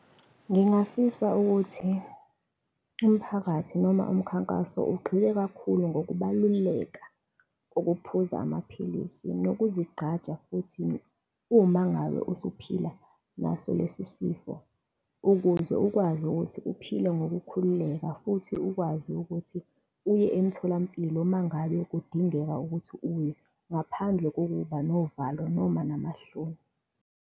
Ngingafisa ukuthi umphakathi noma umkhankaso ugxile kakhulu ngokubaluleka kokuphuza amaphilisi nokuzigqaja futhi uma ngabe usuphila naso lesi sifo, ukuze ukwazi ukuthi uphile ngokukhululeka futhi ukwazi ukuthi uye emtholampilo uma ngabe kudingeka ukuthi uye ngaphandle kokuba novalo noma namahloni.